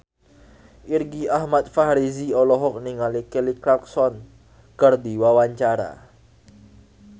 Irgi Ahmad Fahrezi olohok ningali Kelly Clarkson keur diwawancara